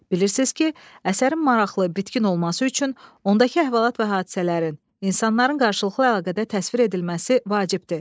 Bilirsiz ki, əsərin maraqlı, bitkin olması üçün ondakı əhvalat və hadisələrin, insanların qarşılıqlı əlaqədə təsvir edilməsi vacibdir.